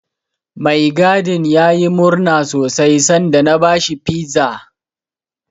Mai gadin yayi murna sosai sanda na bashi Pizza.